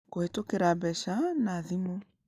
Kũhĩtũkĩra mbeca na thimũ: